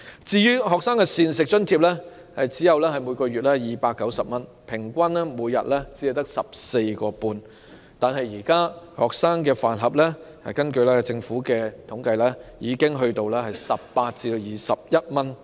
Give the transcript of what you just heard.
至於學生的每月膳食津貼只有290元，平均每天只有 14.5 元，但根據政府的統計，現時每個學生飯盒已經索價18元至21元。